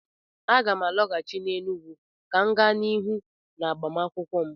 Aga m alọghachi n'Enugwu ka m gaa n'ihu n'agụmakwụkwọ m